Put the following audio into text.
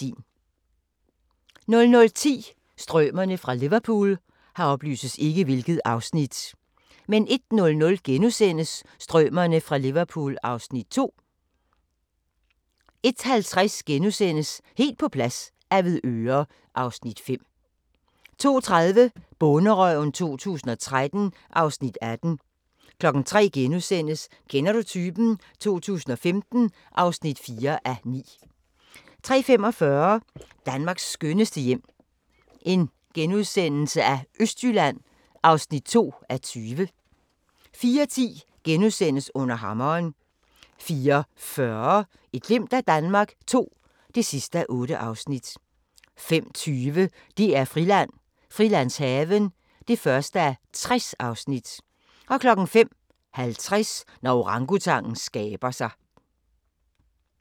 00:10: Strømerne fra Liverpool 01:00: Strømerne fra Liverpool (Afs. 2)* 01:50: Helt på plads - Avedøre (Afs. 5)* 02:30: Bonderøven 2013 (Afs. 18) 03:00: Kender du typen? 2015 (4:9)* 03:45: Danmarks skønneste hjem - Østjylland (2:20)* 04:10: Under hammeren * 04:40: Et glimt af Danmark II (8:8) 05:20: DR-Friland: Frilandshaven (1:60) 05:50: Når orangutangen skaber sig